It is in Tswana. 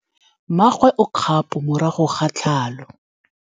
Mmagwe o kgapô morago ga tlhalô.